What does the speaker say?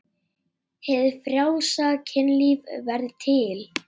Hið frjálsa kynlíf verður til.